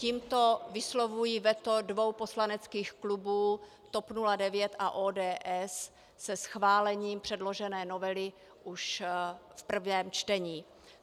Tímto vyslovuji veto dvou poslaneckých klubů TOP 09 a ODS se schválením předložené novely už v prvém čtení.